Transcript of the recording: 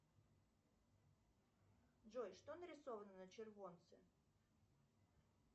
джой что нарисовано на червонце